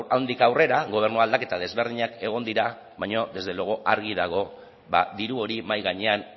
handik aurrera gobernu aldaketa desberdinak egon dira baino desde luego argi dago diru hori mahai gainean